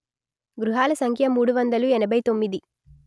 గృహాల సంఖ్య మూడు వందలు ఎనభై తొమ్మిది